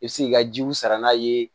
I bɛ se k'i ka jiw sara n'a ye